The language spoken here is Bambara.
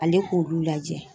Ale k'olu lajɛ